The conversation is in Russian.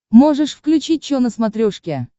можешь включить че на смотрешке